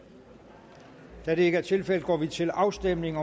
da det ikke er tilfældet går vi til afstemning